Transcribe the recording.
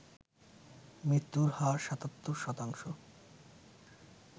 মৃত্যুর হার ৭৭ শতাংশ